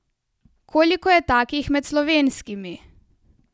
Koliko je takih med slovenskimi?